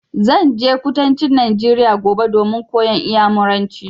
Zan je kudancin Najeriya gobe domin koyan Inyamuranci.